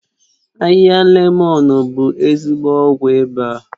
Ahịhịa lemọ̀n bụ ezigbo ọgwụ ịba